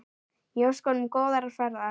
Ég óska honum góðrar ferðar.